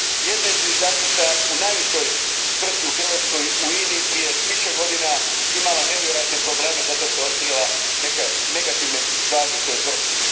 Jedna je zviždačica u najvećoj tvrtki u Hrvatskoj u INA i, prije više godina imala nevjerojatne probleme zato što je otkrila neke negativne stvari u toj tvrtki.